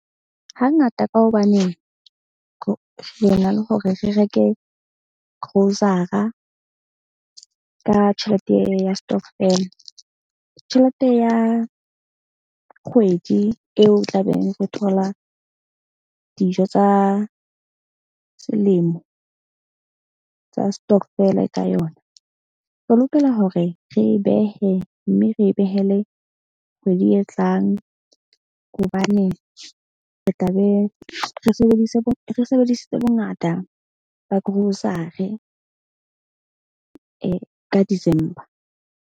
Hangata ka hobaneng re na le hore re reke grocer-a ka tjhelete ya stokvel. Tjhelete ya kgwedi eo o tlabeng re thola dijo tsa selemo tsa stokvel-e ka yona re lokela hore re e behe. Mme re behele kgwedi e tlang hobane re tla be re sebedise re sebedisitse bongata ba grocery ka December.